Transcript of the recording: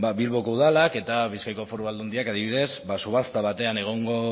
ba bilboko udalak eta bizkaiko foru aldundiak adibidez ba subasta batean egongo